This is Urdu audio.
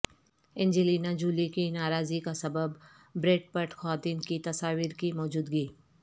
اینجلینا جولی کی ناراضی کا سبب بریڈ پٹ خواتین کی تصاویر کی موجودگی